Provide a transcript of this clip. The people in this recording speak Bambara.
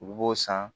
U b'o san